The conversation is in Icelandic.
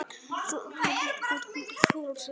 Er sú vinna langt komin.